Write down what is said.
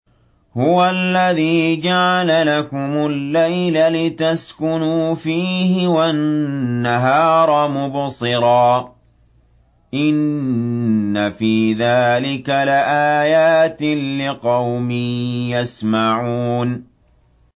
هُوَ الَّذِي جَعَلَ لَكُمُ اللَّيْلَ لِتَسْكُنُوا فِيهِ وَالنَّهَارَ مُبْصِرًا ۚ إِنَّ فِي ذَٰلِكَ لَآيَاتٍ لِّقَوْمٍ يَسْمَعُونَ